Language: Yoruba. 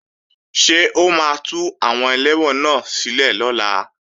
Ṣé o máa tú àwọn ẹlẹ́wọ̀n náà sílẹ̀ lọ́la?